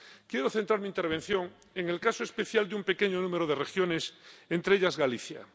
Quiero centrar mi intervención en el caso especial de un pequeño número de regiones, entre ellas Galicia.